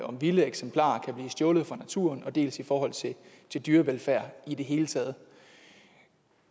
om vilde eksemplarer kan blive stjålet fra naturen dels i forhold til dyrevelfærd i det hele taget